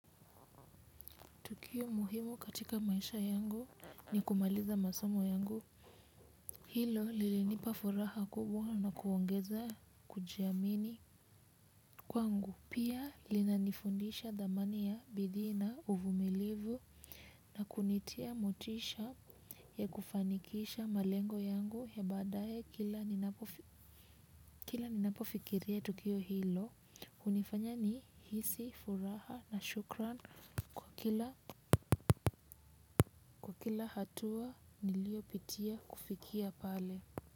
Tukio muhimu katika maisha yangu ni kumaliza masomo yangu. Hilo lilinipa furaha kubwa na kuongeza kujiamini kwangu. Pia linanifundisha thamani ya bidii na uvumilivu. Na kunitia motisha ya kufanikisha malengo yangu ya baadaye kila ninapofikiria tukio hilo hunifanya nihisi furaha na shukran kila kwa kila hatua niliyopitia kufikia pale.